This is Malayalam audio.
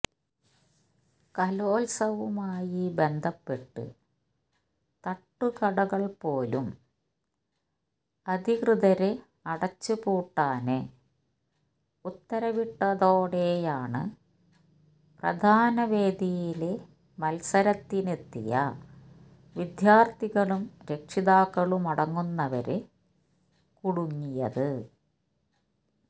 കലോത്സവവുമായി ബന്ധപ്പെട്ട് തട്ടുകടകള് പോലും അധികൃതര് അടച്ച് പൂട്ടാന് ഉത്തരവിട്ടതോടെയാണ് പ്രധാന വേദിയില് മത്സരത്തിനെത്തിയ വിദ്യാര്ഥികളും രക്ഷിതാക്കളുമടങ്ങുന്നവര് കുടുങ്ങിയത്